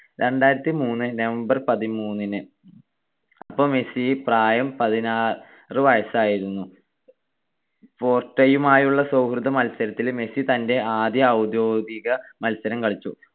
രണ്ടായിരത്തിമൂന്നു november പതിമൂന്നിന്. അപ്പൊ Messi പ്രായം പതിനാറ് വയസ്സായിരുന്നു. പോർട്ടയുമായുള്ള സൗഹൃദമത്സരത്തില് മെസ്സി തന്റെ ആദ്യ ഔദ്യോഗിക മത്സരം കളിച്ചു.